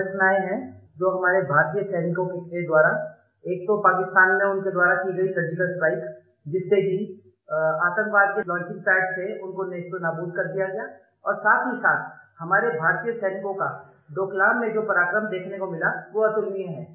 दो घटनाएँ हैं जो हमारे भारतीय सैनिकों के द्वारा एक तो पाकिस्तान में उनके द्वारा की गयी सर्जिकल स्ट्राइक जिससे कि आतंकवाद के लॉन्चिंग पैड्स थे उनको नेस्तनाबूद कर दिया गया और साथहीसाथ हमारे भारतीय सैनिकों का डोकलाम में जो पराक्रम देखने को मिला वो अतुलनीय है